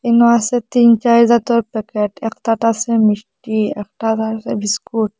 এখানে আছে তিন চাইর জাতর প্যাকেট একটাতে আছে মিষ্টি একটাতে আছে বিস্কুট ।